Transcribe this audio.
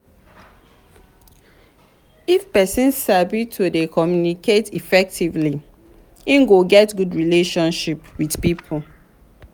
if persin sabi to de communicate effectively im go get good relationship with pipo